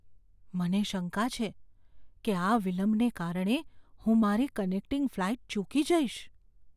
મને શંકા છે કે આ વિલંબને કારણે હું મારી કનેક્ટિંગ ફ્લાઈટ ચૂકી જઈશ.